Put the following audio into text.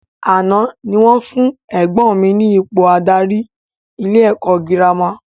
Àná ni wọ́n fún ẹ̀gbọ́n mi ní ipò adarí ilé ẹ̀kọ́ girama